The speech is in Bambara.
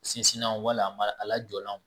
Sinsinnanw wala a lajɔlanw